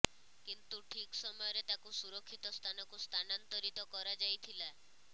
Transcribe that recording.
କିନ୍ତୁ ଠିକ ସମୟରେ ତାକୁ ସୁରକ୍ଷିତ ସ୍ଥାନକୁ ସ୍ଥାନାନ୍ତରୀତ କରାଯାଇଥିଲା